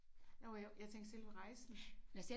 Nåh jo jeg tænkte selve rejsen